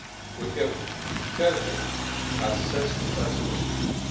We have carefully assessed such a possibility.